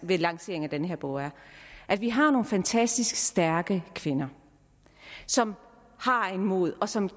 ved lanceringen af den her bog er at vi har nogle fantastisk stærke kvinder som har mod og som